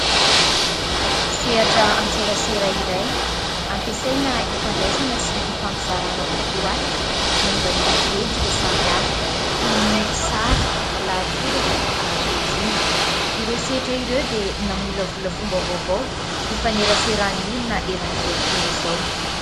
Sehatra an-tserasera iray ampiasaina hifandraisana sy hifampizarana vontoaty, momba ny endrika samihafa. Toy ny sary, lahatsoratra, ary rohy. Ireo sehatra ireo dia namolavola fomba vaovao hifaneraseran'ny olona eran'izao tontolo izao.